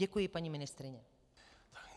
Děkuji, paní ministryně.